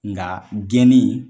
Nga gɛnni